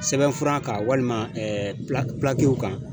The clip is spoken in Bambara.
Sɛbɛnfura kan walima kan.